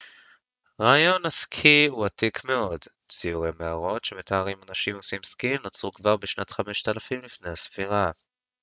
רעיון הסקי הוא עתיק מאוד ציורי מערות שמתארים אנשים עושים סקי נוצרו כבר בשנת 5000 לפני הספירה